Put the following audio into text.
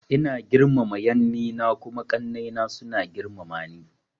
Ina girmama yanni na kuma ƙanai na suna girmama ni.